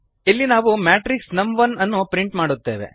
ಇಲ್ಲಿ ನಾವು ಮ್ಯಾಟ್ರಿಕ್ಸ್ ನಮ್1 ಅನ್ನು ಪ್ರಿಂಟ್ ಮಾಡುತ್ತೇವೆ